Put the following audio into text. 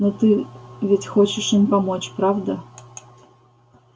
но ты ведь хочешь им помочь правда